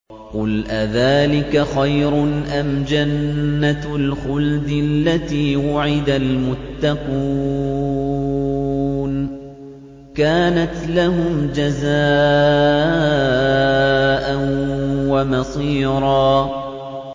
قُلْ أَذَٰلِكَ خَيْرٌ أَمْ جَنَّةُ الْخُلْدِ الَّتِي وُعِدَ الْمُتَّقُونَ ۚ كَانَتْ لَهُمْ جَزَاءً وَمَصِيرًا